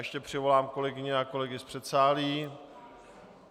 Ještě přivolám kolegyně a kolegy z předsálí.